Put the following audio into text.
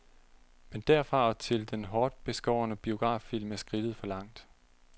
Men derfra og til den hårdt beskårne biograffilm er skridtet for langt.